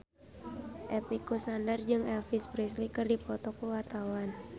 Epy Kusnandar jeung Elvis Presley keur dipoto ku wartawan